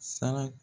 Sara